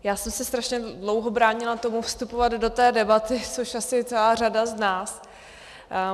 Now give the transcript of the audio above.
Já jsem se strašně dlouho bránila tomu vstupovat do té debaty, což asi celá řada z nás.